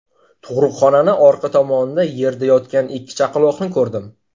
Tug‘ruqxonani orqa tomonida yerda yotgan ikki chaqaloqni ko‘rdim.